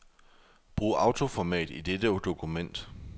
Brug autoformat i dette dokument.